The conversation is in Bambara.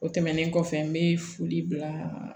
O tɛmɛnen kɔfɛ n bɛ foli bila